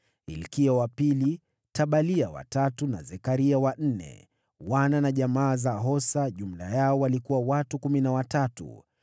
Hilkia wa pili, Tabalia wa tatu na Zekaria wa nne. Wana na jamaa za Hosa jumla yao walikuwa watu kumi na watatu.